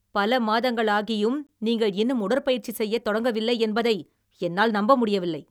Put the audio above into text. பல மாதங்கள் ஆகியும் நீங்கள் இன்னும் உடற்பயிற்சி செய்யத் தொடங்கவில்லை என்பதை என்னால் நம்ப முடியவில்லை!